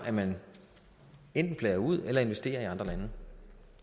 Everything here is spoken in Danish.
at man enten flager ud eller investerer i andre lande